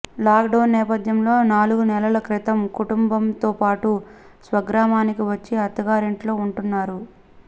lockdown నేపథ్యంలో నాలుగు నెలల క్రితం కుటుంబంతోపాటు స్వగ్రామానికి వచ్చి అత్తాగారింట్లో ఉంటున్నారు